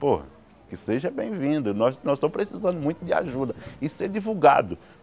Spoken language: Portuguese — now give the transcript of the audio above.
Pô, que seja bem-vindo, nós nós estamos precisando muito de ajuda e ser divulgado.